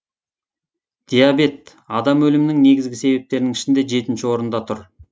диабет адам өлімінің негізгі себептерінің ішінде жетінші орында тұр